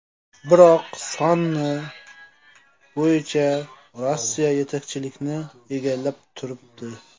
Biroq, soni bo‘yicha Rossiya yetakchilikni egallab turibdi.